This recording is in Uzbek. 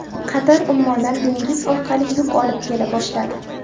Qatar Ummondan dengiz orqali yuk olib kela boshladi.